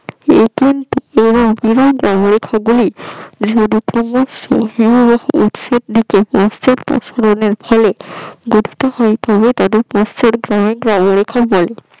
ফলে